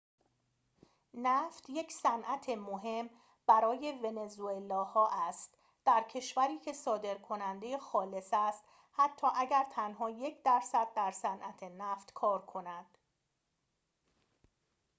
نفت یک صنعت مهم برای ونزوئلا ها است در کشوری که صادرکننده خالص است حتی اگر تنها یک درصد در صنعت نفت کار کند